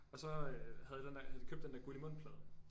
Og så øh havde jeg den der havde de købt den der Guldimund plade